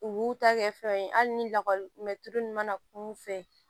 U b'u ta kɛ fɛnw ye hali ni lakɔli mɛ tulu ninnu mana kumu fɛ